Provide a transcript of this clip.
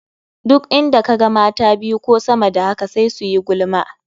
Duk inda ka ga mata biyu ko sama da haka sai su yi gulma.